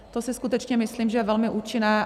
To si skutečně myslím, že je velmi účinné.